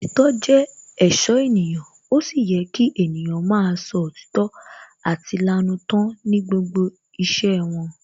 Òtítọ́ jẹ́ èṣó ènìyàn, ó sì yẹ kí ènìyàn máa sọ òtítọ́ àti lanú tán ní gbogbo iṣẹ́ wọn